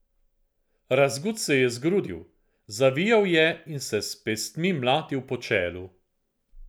Razgut se je zgrudil, zavijal je in se s pestmi mlatil po čelu.